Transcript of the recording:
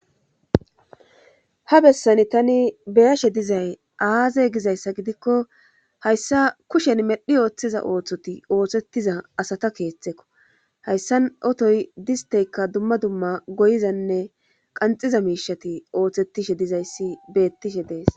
ha bessani tani beyashe dizay aaze gizayssa gidikko hayssa kushen medhi ooththiza ooththoti ooththettiza asata keeththekko hayssan otoy disteykka dumma dumma goyizanne qanxiza miishati ooththettishe dizayssi beettishe dees